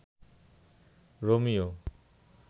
Romeo